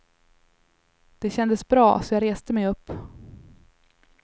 Det kändes bra, så jag reste mig upp.